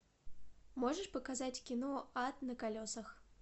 можешь показать кино ад на колесах